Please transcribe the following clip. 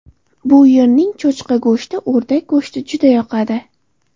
Bu yerning cho‘chqa go‘shti, o‘rdak go‘shti juda yoqadi.